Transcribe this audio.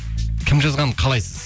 кім жазғанын қалайсыз